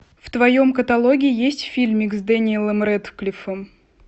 в твоем каталоге есть фильмик с дэниэлом рэдклиффом